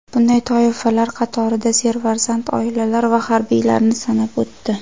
Bunday toifalar qatorida serfarzand oilalar va harbiylarni sanab o‘tdi.